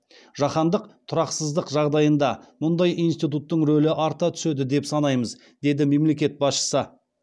жаһандық тұрақсыздық жағдайында мұндай институттың рөлі арта түседі деп санаймыз деді мемлекет басшысы